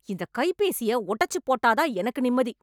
இந்த கைபேசிய உடச்சு போட்டாத் தான் எனக்கு நிம்மதி